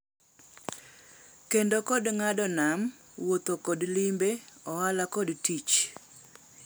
Kendo kod ng’ado nam, wuotho kod limbe, ohala kod tich.